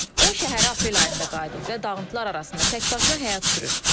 O şəhərə aprel ayında qayıdıb və dağıntılar arasında təkbaşına həyat sürür.